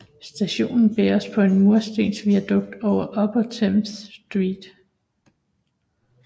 Stationen bæres på en murstensviadukt over Upper Thames Street